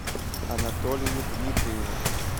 анатолию дмитриеву